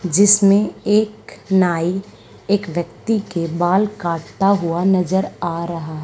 जिसमें एक नाई एक व्यक्ति के बाल काटता हुआ नजर आ रहा--